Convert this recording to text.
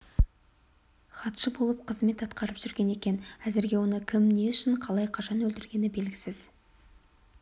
хатшы болып қызмет атқарып жүрген екен әзірге оны кім не үшін қалай қашан өлтіргені белгісіз